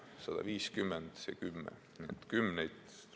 Nii et 150 ja 10!